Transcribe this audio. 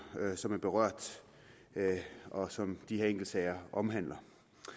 som er berørt og som de her enkeltsager omhandler